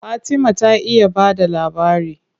Fatima ta iya ba da labari.